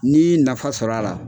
N'ii nafa sɔrɔ a la.